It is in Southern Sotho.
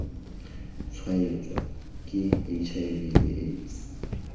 tshwaetswa ke hiv le aids